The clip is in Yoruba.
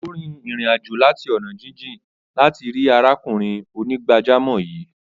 Ó rìn ìrìn-àjò láti ọ̀nà jíjìn láti rí arákùnrin onígbàjámọ̀ yìí.